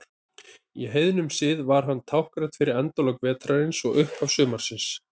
Í heiðnum sið var hann táknrænn fyrir endalok vetrarins og upphaf sumarsins.